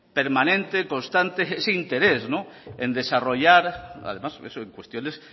permanente constante ese interés en desarrollar además en cuestiones